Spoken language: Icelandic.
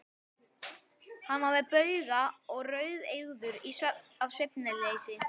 Hann var með bauga og rauðeygður af svefnleysi.